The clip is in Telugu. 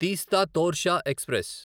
తీస్తా తోర్షా ఎక్స్ప్రెస్